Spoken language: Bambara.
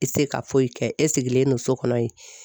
I tɛ se ka foyi kɛ e sigilen don so kɔnɔ yen